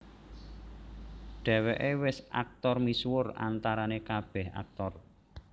Dheweke wis aktor misuwur antarane kabeh aktor